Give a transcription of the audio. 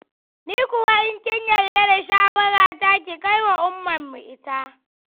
Ni kuwa in kin yarda da shawarata ki kai wa Ummanmu ita.